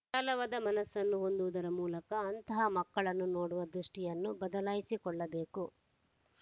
ವಿಶಾಲವಾದ ಮನಸ್ಸನ್ನು ಹೊಂದುವುದರ ಮೂಲಕ ಅಂತಹ ಮಕ್ಕಳನ್ನು ನೋಡುವ ದೃಷ್ಟಿಯನ್ನು ಬದಲಾಯಿಸಿಕೊಳ್ಳಬೇಕು